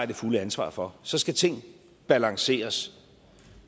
det fulde ansvar for så skal ting balanceres